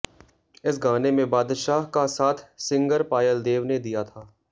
इस गाने में बादशाह का साथ सिंगर पायल देव ने दिया था